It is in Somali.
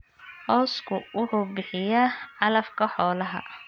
Cawsku wuxuu bixiyaa calafka xoolaha.